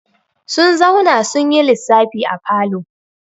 Sun zauna sun yi lissafi a falo.